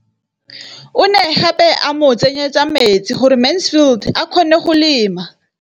O ne gape a mo tsenyetsa metsi gore Mansfield a kgone go lema.